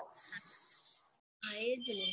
હા એજ ને